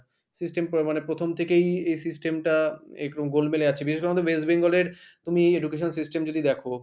system মানে প্রথম থেকেই এই system টা একটু গোলমেলে আছে বিশেষ করে আমাদের West Bengal র তুমি education system যদি দেখো,